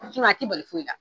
A t'i bali foyi la.